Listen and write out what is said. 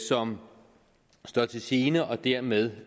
som står til gene og dermed